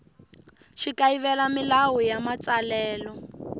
xi kayivela milawu ya matsalelo